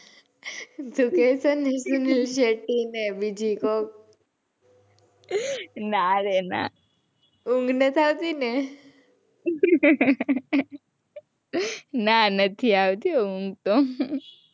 તું કે છે ને સુનિલ શેટ્ટી ને બીજી કોક. ના રે ના. ઊંઘ નથી આવતી ને. ના નથી આવતી ઊંઘ તો.